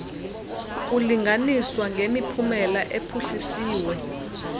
kulinganiswa ngemiphumela ephuhliswe